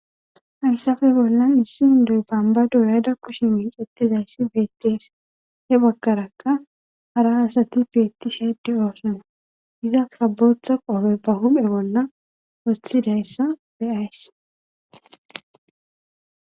hayssafe bollan issi indoy bambado yayda kushi miix ettizayssi beettees he bakarakka hara asati beetti sheeddi oosona iza sabotha qofe bahume bolla wothidayssa beyays